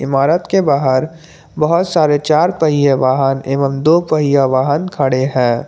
इमारत के बाहर बहुत सारे चार पहिया वाहन एवं दो पहिया वाहन खड़े हैं।